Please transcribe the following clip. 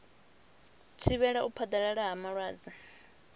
thivhela u phaḓalala ha malwadze